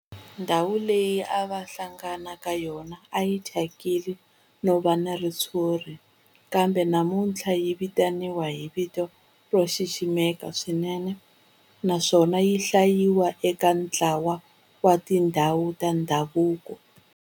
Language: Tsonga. Ndhawu leyi a va hlangana ka yona a yi thyakile no va na ritshuri kambe namuntlha yi vitaniwa hi vito ro xiximeka swinene naswona yi hlayiwa eka ntlawa wa tindhawu ta ndhavuko.